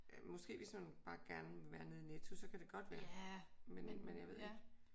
Måske hvis man bare gerne vil være nede i Netto så kan det godt være. Men jeg ved ikke